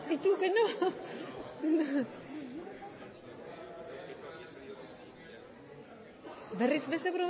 eh que pasa que sale al reves tu has votado que sí y tu que no berris beste